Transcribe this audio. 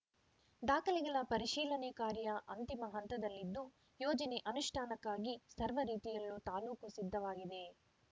ದಾಖಲೆಗಳ ಪರಿಶೀಲನೆ ಕಾರ್ಯ ಅಂತಿಮ ಹಂತದಲ್ಲಿದ್ದು ಯೋಜನೆ ಅನುಷ್ಠಾನಕ್ಕಾಗಿ ಸರ್ವ ರೀತಿಯಲ್ಲೂ ತಾಲೂಕು ಸಿದ್ಧವಾಗಿದೆ